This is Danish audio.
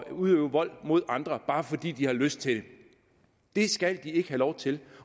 at udøve vold mod andre bare fordi de har lyst til det det skal de ikke have lov til